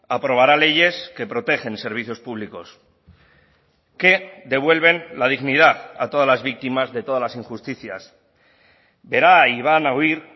aprobará leyes que protegen servicios públicos que devuelven la dignidad a todas las víctimas de todas las injusticias verá y van a oír